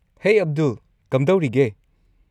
ꯍꯦ, ꯑꯕꯗꯨꯜ, ꯀꯝꯗꯧꯔꯤꯒꯦ?